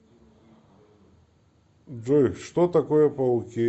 джой что такое пауки